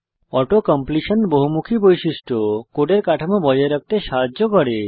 auto completion বহুমুখী বৈশিষ্ট্য কোডের কাঠামো বজায় রাখতে সাহায্য করে